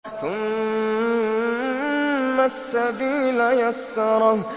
ثُمَّ السَّبِيلَ يَسَّرَهُ